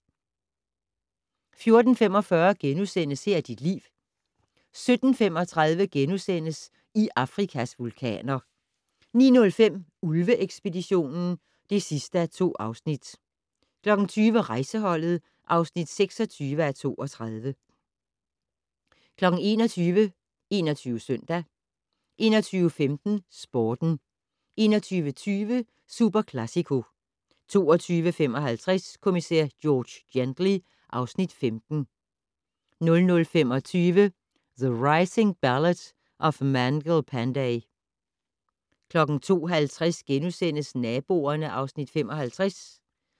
14:45: Her er dit liv * 17:35: I Afrikas vulkaner * 19:05: Ulve-ekspeditionen (2:2) 20:00: Rejseholdet (26:32) 21:00: 21 Søndag 21:15: Sporten 21:20: Superclàsico 22:55: Kommissær George Gently (Afs. 15) 00:25: The Rising: Ballad of Mangal Pandey 02:50: Naboerne (Afs. 55)*